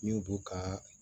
N'u b'u ka